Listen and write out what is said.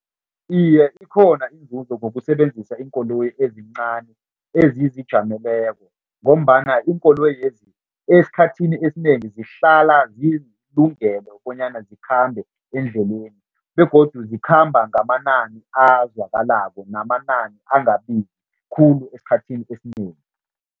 Iye, ikhona inzuzo ngokusebenzisa iinkoloyi ezincani ezizijameleko ngombana iinkoloyezi esikhathini esinengi zihlala zilungele bonyana zikhambe eendleleni begodu zikhamba ngamanani azwakalako namanani angabizi khulu esikhathini esinengi.